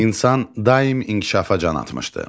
İnsan daim inkişafa can atmışdı.